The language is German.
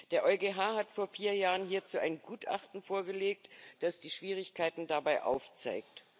Der EuGH hat vor vier Jahren hierzu ein Gutachten vorgelegt, das die Schwierigkeiten dabei aufzeigt.